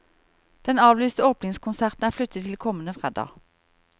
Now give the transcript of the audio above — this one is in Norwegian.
Den avlyste åpningskonserten er flyttet til kommende fredag.